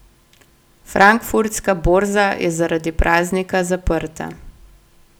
Frankfurtska borza je zaradi praznika zaprta.